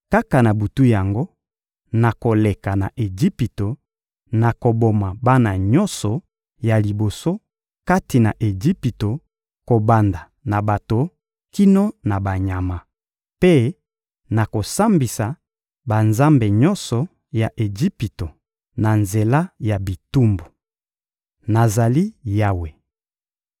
Kaka na butu yango, nakoleka na Ejipito; nakoboma bana nyonso ya liboso kati na Ejipito kobanda na bato kino na banyama; mpe nakosambisa banzambe nyonso ya Ejipito na nzela ya bitumbu. Nazali Yawe.